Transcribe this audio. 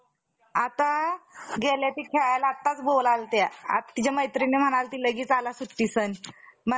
जसजशी इराणातून मदत येत गेली. तसतशी पीडा देऊ लागला. पुढे यशपाने जरी तो पर्वत,